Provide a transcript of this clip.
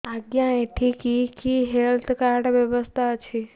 ଆଜ୍ଞା ଏଠି କି କି ହେଲ୍ଥ କାର୍ଡ ବ୍ୟବସ୍ଥା ଅଛି